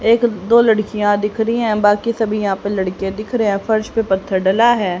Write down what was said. एक दो लड़कियां दिख रही है बाकी सभी यहां पे लड़के दिख रहे हैं फर्श पे पत्थर डला है।